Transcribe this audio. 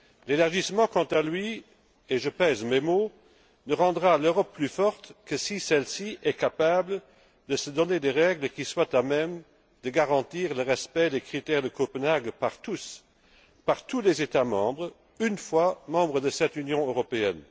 L'élargissement quant à lui et je pèse mes mots ne rendra l'Europe plus forte que si celle ci est capable de se donner des règles qui soient à même de garantir le respect des critères de Copenhague par tous, par tous les États membres, une fois membres de cette Union européenne